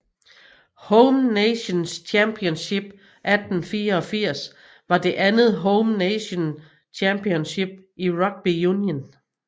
Home Nations Championship 1884 var det andet Home Nations Championship i rugby union